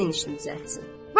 Sənin işin düzəltsin.